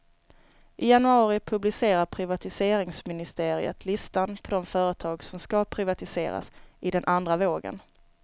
I januari publicerar privatiseringsministeriet listan på de företag som ska privatiseras i den andra vågen.